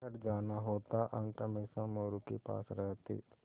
घर जाना होता अंक हमेशा मोरू के पास रहते